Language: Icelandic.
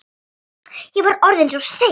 Ég var orðinn svo seinn.